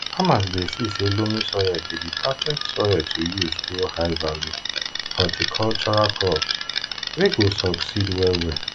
farmers dey see say loamy soil be di perfect soil to use grow high value horticultural crops wey go succeed well well